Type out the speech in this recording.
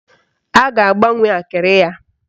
A ga-agbanwe akịrị ya.